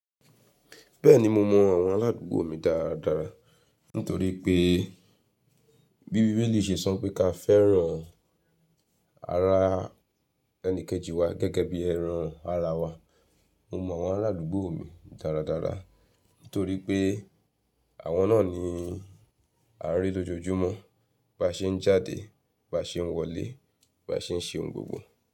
Bẹ́ẹ̀ni mo mọ àwọn aládùúgbò mi dáradára nítorí pé bí Bíbélì ṣe sọ pé ká fẹ́ràn ara ẹni kejì wa gẹ́gẹ́ bí ẹran ara wa, mo mọ àwọn aládùúgbò mi dáradára nítorí pé àwọn náà ni a rí lójoojúmọ́, bá ṣe ń jáde, bá ṣe ń wọlé, bá ṣe ń ṣe ohun gbogbo.